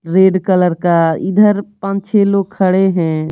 Red colour का इधर पांच छह लोग खड़े है।